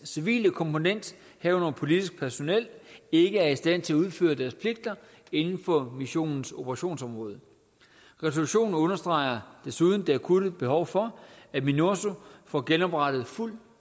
civile komponent herunder politisk personel ikke er i stand til at udføre deres pligter inden for missionens operationsområde resolutionen understreger desuden det akutte behov for at minurso får genoprettet fuld